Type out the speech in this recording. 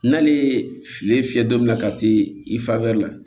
N'ale ye filen fiyɛ don min na ka se i fa bɛ la